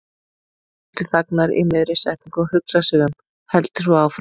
Hildur þagnar í miðri setningu og hugsar sig um, heldur svo áfram